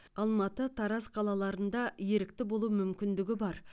алматы тараз қалаларында ерікті болу мүмкіндігі бар